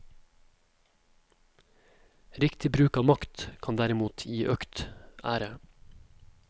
Riktig bruk av makt kan derimot gi økt ære.